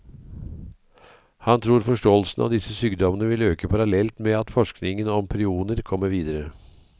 Han tror forståelsen av disse sykdommene vil øke parallelt med at forskningen om prioner kommer videre.